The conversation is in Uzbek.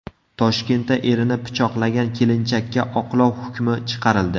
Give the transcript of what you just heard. Toshkentda erini pichoqlagan kelinchakka oqlov hukmi chiqarildi.